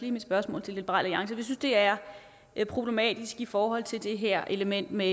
i mit spørgsmål til liberal alliance vi synes det er er problematisk i forhold til det her element med